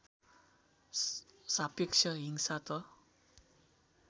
सापेक्ष हिंसा त